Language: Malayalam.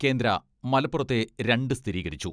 കേന്ദ്ര മലപ്പുറത്തെ രണ്ട് സ്ഥിരീകരിച്ചു.